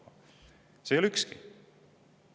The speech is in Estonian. See ei ole ükski neist!